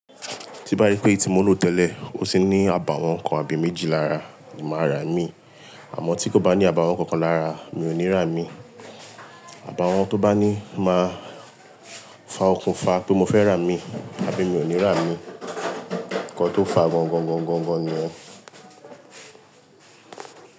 Tí n bá rí pé èti mo ló tẹ́lẹ̀, ó sì ní àbàwọ́n kan àbí méjì lára, màá rà á mí. Àmọ́ tí kò bá ní àbàwọ́n kankan lára, mi ò ní rà á mí. Àbàwọ́n tó bá ní máa fàa òkúnfa pé mo fẹ́ rà á mí, àbí mi ò ní rà á mí. Nkan tó fàa gọ́ńgọ́ńgọ́ńgọ́ńgọ́ńgọ́n ni ẹ́.